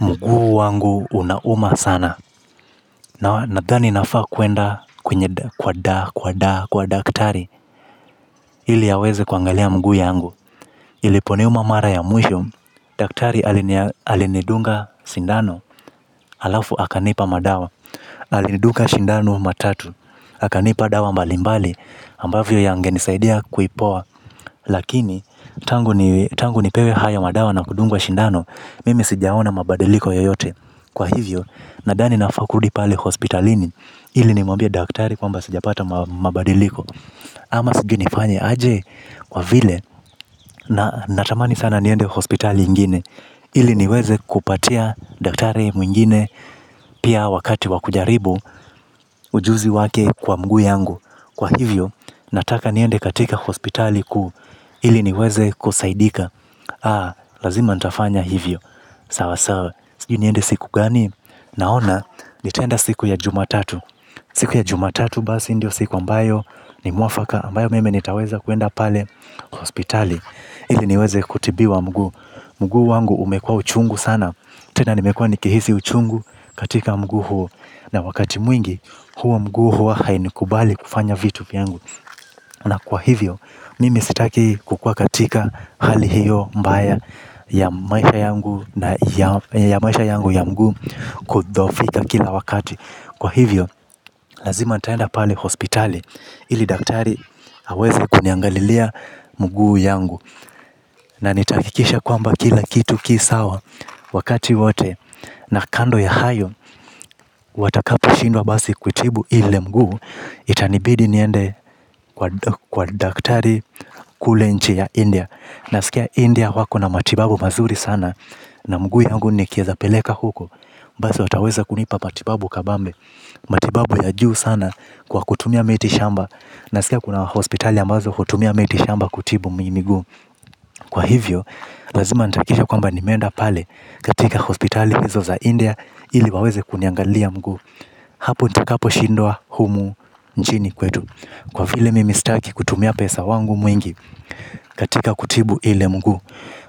Mguu wangu unauma sana. Nadhani nafaa kuenda kwa daa, kwa daa, kwa daktari, ili aweze kuangalia mguu yangu. Iliponiuma mara ya mwisho, daktari alinidunga sindano, halafu akanipa madawa. Alidunga sindano matatu. Akanipa dawa mbalimbali, ambavyo yangenisaidia kuipoa. Lakini, tangu nipewe haya madawa na kudungwa sindano, mimi sijaona mabadiliko yoyote. Kwa hivyo, nadhani nafaa kurudi pale hospitalini. Ili nimwambia daktari kwamba sijapata mabadiliko. Ama sijui nifanye aje kwa vile natamani sana niende hospital yengine, ili niweze kupatia daktari mwengine. Pia wakati wa kujaribu ujuzi wake kwa mguu yangu kwa hivyo, nataka niende katika hospitali kuu. Ili niweze kusaidika. Ah, lazima nitafanya hivyo. Sawa sawa, sijui niende siku gani. Naona nitaenda siku ya jumatatu. Siku ya jumatatu basi ndio siku ambayo ni mwafaka ambayo mimj nitaweza kuenda pale hospitali. Ili niweze kutibiwa mguu. Mguu wangu umekuwa uchungu sana. Tena nimekuwa nikihisi uchungu katika mguu huo. Na wakati mwingi huo mguu huo hainikubali kufanya vitu vyangu. Na kwa hivyo mimi sitaki kukuwa katika hali hiyo mbaya ya maisha yangu ya mguu kudhoofika kila wakati, kwa hivyo haweze kuniangalilia mguu yangu. Na nitahakikisha kwamba kila kitu ki sawa wakati wote. Na kando ya hayo, watakaposhindwa basi kutibu ile mguu. Itanibidi niende kwa daktari kule nchi ya India. Nasikia India wako na matibabu mazuri sana. Na mguu yangu nikieza peleka huko basi wataweza kunipa matibabu kabambe. Matibabu ya juu sana kwa kutumia miti shamba. Naskia kuna hospitali ambazo hutumia miti shamba kutibu miguu. Kwa hivyo lazima nitahakikisha kwamba nimeenda pale katika hospitali hizo za India ili waweze kuniangalia mguu. Hapo nitakaposhindwa humu nchini kwetu. Kwa vile mimi sitaki kutumia pesa wangu mwingi. Katika kutibu ile mguu